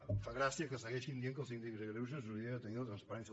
em fa gràcia que segueixin dient que el síndic de greuges hauria de tenir la transparència